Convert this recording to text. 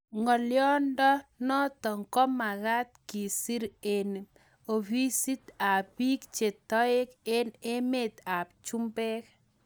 Ngolyodo notok komakat kisir eng ofisit ab biik che toek eng emet ab chumbek.